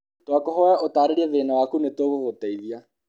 Twakũhoya ũtaarĩrie thĩĩna waku nĩtũkũgũteithia.